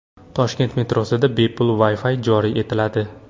Toshkent metrosida bepul Wi-fi joriy etiladi.